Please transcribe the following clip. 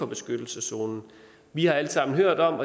beskyttelseszonen vi har alle sammen hørt om